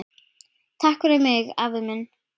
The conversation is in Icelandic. Takk fyrir mig, afi minn.